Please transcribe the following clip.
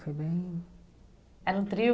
Foi bem... Era um trio?